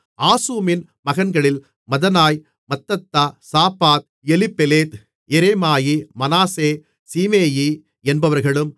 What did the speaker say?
ஆசூமின் மகன்களில் Mattenai Mattattah Zabad Eliphelet Jeremai Manasseh Shimei என்பவர்களும்